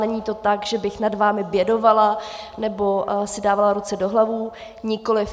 Není to tak, že bych nad vámi bědovala nebo si dávala ruce do hlavy, nikoliv.